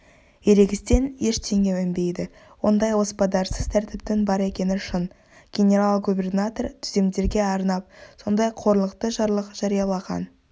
ерегістен ештеңе өнбейді ондай оспадарсыз тәртіптің бар екені шын генерал-губернатор түземдерге арнап сондай қорлықты жарлық жариялаған